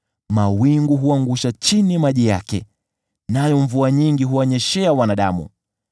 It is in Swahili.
mawingu huangusha chini maji yake, nayo mvua nyingi huwanyeshea wanadamu.